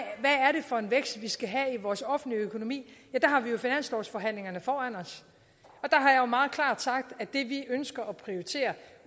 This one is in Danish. for en vækst vi skal have i vores offentlige økonomi der har vi jo finanslovsforhandlingerne foran os og meget klart sagt at det vi ønsker at prioritere